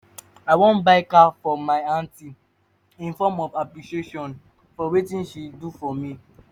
i wan buy car for my aunty in form of appreciation for wetin she do for me